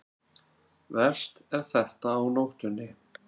Verst er þetta á nóttunni.